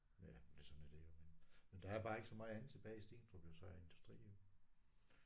Ja men det sådan er det jo men. Men der er bare ikke så meget andet tilbage i Stenstrup af industri jo